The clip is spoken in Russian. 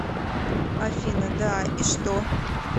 афина да и что